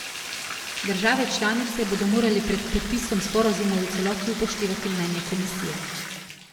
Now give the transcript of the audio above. Države članice bodo morale pred podpisom sporazumov v celoti upoštevati mnenje komisije.